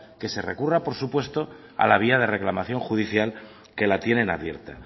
que se recurra por supuesto a la vía de reclamación judicial que la tienen abierta